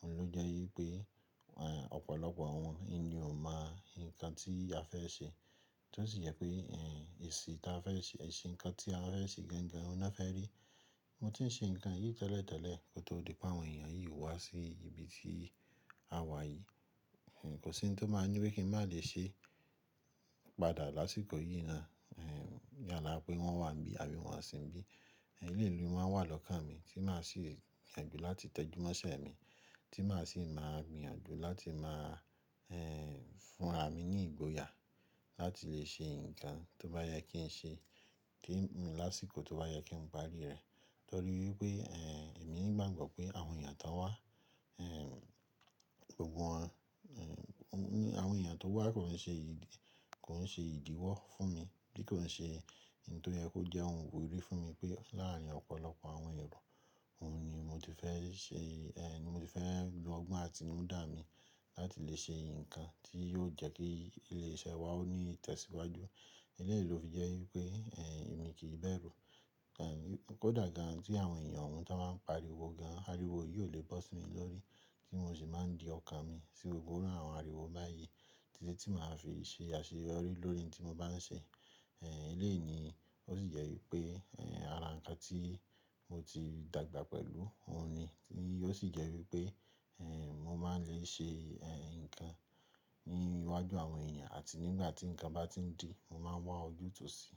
òun ló jẹ́ wípé ọ̀pọ̀lọpọ̀ àwọn ẹni ò mọ nǹkan tí a fẹ́ ṣe. Tí ó sì jẹ́ pé èsì ǹkan tí a fẹ́ ṣe, èsì nǹkan tí a fẹ́ ṣe gangan, òun ná fẹ́ rí. Mo ti ń ṣe nǹkan yìí tẹ́lẹ̀ tẹ́lẹ̀ kó tó di pé àwọn èèyàn yìí wá sí ibi tí a wà yìí. Kò sí ohun tó máa ń ní wípé kí n má lè ṣe padà lásìkò yìí ná. Yálà pé wọ́n wà ńbí àbí wọ́n á sin bí. Eléyìí ni ó máa wà lọ́kàn mi tí màá sì bìyànjú láti tẹjúmọ́ṣẹ́ mi, tí màá sì máa gbìyànjú láti máa fún ra mi ní ìgboyà láti lè ṣe nǹkan tó bá yẹ kí n ṣe kí n mú lásìkò tó bá yẹ kí n parí rẹ̀. Torí wípé èmi ńi gbàgbọ́ pé àwọn èèyàn tó wá, gbogbo wọn, àwọn èèyàn tó wá kò ń ṣe ìdíwọ́ fún mi bí kò ń ṣe nǹkan tó yẹ kó jẹ́ ohun wo ìdí fún mi pé láàárín ọ̀pọ̀lọpọ̀ àwọn ero, òun ni mo ti fẹ́ ṣe, mo ti fẹ́ lo ọgbọ́n àtinúdá mi láti lè ṣe nǹkan tí yóò jẹ́ kí ilé iṣẹ́ wa ó ní ìtẹ̀síwájú. Eléyìí ló fi jẹ́ wípé èmi kì bẹ̀rù. Kódà gan an tí àwọn èèyàn ohun tó bá ń pariwo gan an, àríwó yìí ò lè bọ́ sí mi lórí kí n ò sì má di ọkàn mi sí gbogbo àwọn àríwó báyìí tíṣẹ́ tí màá fi ṣe àṣeyọrí lórí ohun tí mo bá ń ṣe. Eléyìí ni ó sì jẹ́ wípé ara ǹkan tí mo ti dàgbà pẹ̀lú òun ni. Ó sì jẹ́ wípé mo máa lè ṣe nǹkan ní iwájú àwọn èèyàn àti nígbà tí ǹkan bá ti ń di, mo máa wá ojútùú sí i.